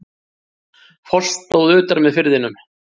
Foss stóð utar með firðinum.